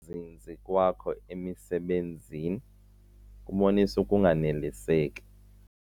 zinzi kwakho emisebenzini kubonisa ukunganeliseki.